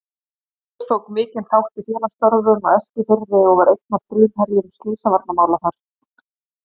Magnús tók mikinn þátt í félagsstörfum á Eskifirði og var einn af frumherjum slysavarnamála þar.